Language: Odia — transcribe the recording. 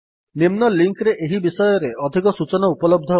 ନିମ୍ନ ଲିଙ୍କ୍ ରେ ଏହି ବିଷୟରେ ଅଧିକ ସୂଚନା ଉପଲବ୍ଧ ଅଛି